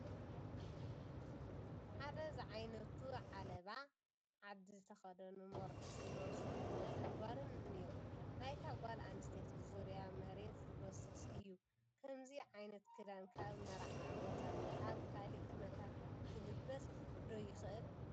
ሓደ ዝዓይነቱ ዓለባ ዓዲ ዝተኸደኑ መርዑት ዝመስሉ ወድን ጓልን እኔዉ፡፡ ናይታ ጓል ኣነስተይቲ ዙርያ መሬት ዝጐስስ እዩ፡፡ ከምዚ ዓይነት ክዳን ካብ መርዓ ወፃኢ ኣብ ካልእ ኩነታት ክልበስ ዶ ይኽእል?